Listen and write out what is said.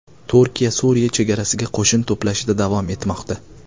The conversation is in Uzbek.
Turkiya Suriya chegarasiga qo‘shin to‘plashda davom etmoqda.